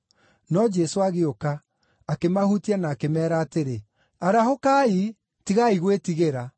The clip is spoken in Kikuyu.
No Jesũ agĩũka, akĩmahutia na akĩmeera atĩrĩ, “Arahũkai, tigai gwĩtigĩra.”